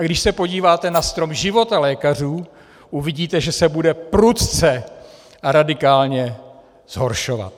A když se podíváte na strom života lékařů, uvidíte, že se bude prudce a radikálně zhoršovat.